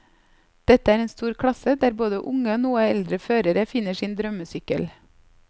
Dette er en stor klasse, der både unge og noe eldre førere finner sin drømmesykkel.